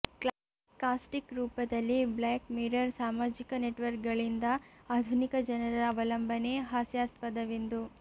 caustic ರೂಪದಲ್ಲಿ black mirror ಸಾಮಾಜಿಕ ನೆಟ್ವರ್ಕ್ಗಳಿಂದ ಆಧುನಿಕ ಜನರ ಅವಲಂಬನೆ ಹಾಸ್ಯಾಸ್ಪದವೆಂದು